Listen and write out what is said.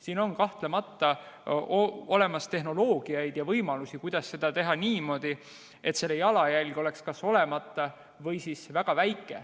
Siin on kahtlemata olemas tehnoloogiaid ja võimalusi, kuidas seda teha niimoodi, et selle jalajälg oleks kas olemata või siis väga väike.